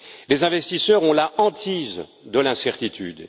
Les investisseurs ont la hantise de l'incertitude.